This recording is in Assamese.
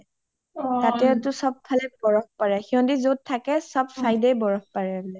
তাতেটো চব ফালে বৰফ পৰে , সিহটি যত থাকে চব side য়ে বৰফ পৰে বুলে